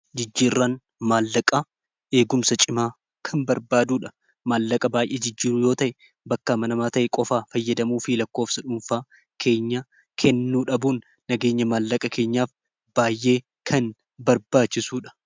Jijjiirraan maallaqaa eegumsa cimaa kan barbaaduudha maallaqa baay'ee jijjiiruu yoo ta'e bakka manamaa ta'e qofaa fayyadamuu fi lakkoofsa dhuunfaa keenya kennuu dhabuun nageenya maallaqa keenyaaf baay'ee kan barbaachisuudha.